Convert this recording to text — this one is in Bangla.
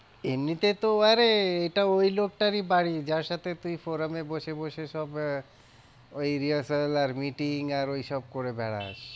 এমনিতে তো আরে এটা ওই লোকটারই বাড়ি যার সাথে তুই forum এ বসে বসে সব আহ ওই rehearsal আর meeting আর ওইসব করে বেড়াস।